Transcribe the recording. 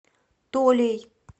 толей